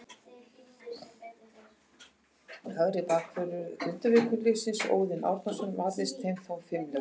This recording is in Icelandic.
Hægri bakvörður Grindavíkurliðsins, Óðinn Árnason, varðist þeim þó fimlega.